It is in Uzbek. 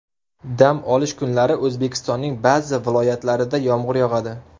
Dam olish kunlari O‘zbekistonning ba’zi viloyatlarida yomg‘ir yog‘adi.